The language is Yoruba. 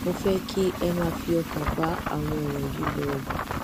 mo fẹ kí ẹ máa fi ọkàn bá àwọn ọrọ yìí lò ó